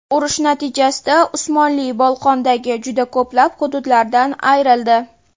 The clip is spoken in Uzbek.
Urush natijasida Usmonli Bolqondagi juda ko‘plab hududlaridan ayrildi.